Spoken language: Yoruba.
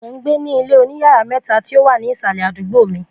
mo n gbe ni ilé oníyàrá mẹ̀ta ti o wa ninusi isalẹ awọn ita